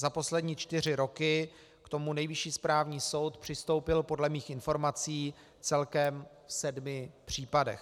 Za poslední čtyři roky k tomu Nejvyšší správní soud přistoupil podle mých informací celkem v sedmi případech.